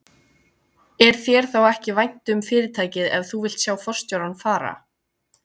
Er þér þá ekki vænt um fyrirtækið ef þú vilt sjá forstjórann fara?